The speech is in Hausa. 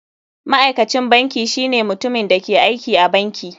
Ma'aikacin banki shine mutumin da ke aiki a banki.